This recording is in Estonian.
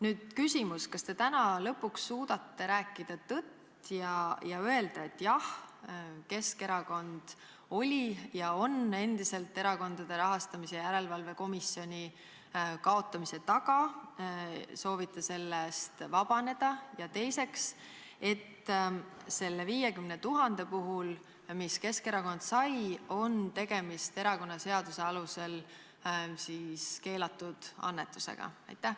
Nüüd küsimus: kas te täna lõpuks suudate rääkida tõtt ja öelda, et jah, Keskerakond oli ja on endiselt Erakondade Rahastamise Järelevalve Komisjoni kaotamise taga ning te soovite sellest vabaneda, ja teiseks, selle 50 000 puhul, mis Keskerakond sai, on erakonnaseaduse alusel tegemist keelatud annetusega?